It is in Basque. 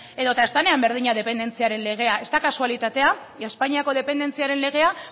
edo eta ez denean berdina dependentziaren legea ez da kasualitatea espainiako dependentziaren legea